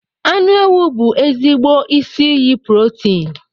Anụ ewu bụ ezigbo isi iyi protin